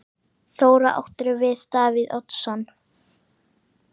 Þóra: Áttirðu við Davíð Oddsson?